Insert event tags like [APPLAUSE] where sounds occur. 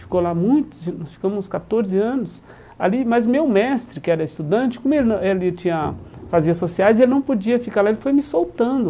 Ficou lá muitos, nós ficamos uns catorze anos ali, mas meu mestre que era estudante, como ele [UNINTELLIGIBLE] ele tinha fazia sociais, ele não podia ficar lá, ele foi me soltando.